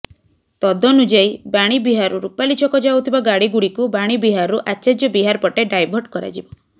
ତଦନୁଯାୟୀ ବାଣୀ ବିହାରରୁ ରୂପାଲି ଛକ ଯାଉଥିବା ଗାଡିଗୁଡିକୁ ବାଣୀବିହାରରୁ ଆଚାର୍ଯ୍ୟ ବିହାର ପଟେ ଡାଇଭର୍ଟ କରାଯିବ